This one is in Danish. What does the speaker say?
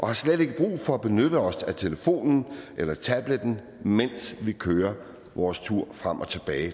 har slet ikke brug for at benytte os af telefonen eller tabletten mens vi kører vores tur